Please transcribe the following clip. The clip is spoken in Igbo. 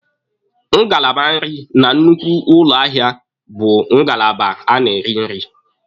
Ngalaba nrị na nnukwu ụlọ ahịa bụ ngalaba a na-eri nri.